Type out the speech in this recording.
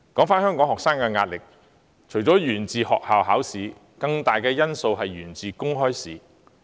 香港學生的壓力除了源自學校考試，更大的因素是源於公開試。